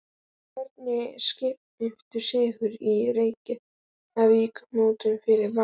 En hverju skiptir sigur í Reykjavíkurmótinu fyrir Val?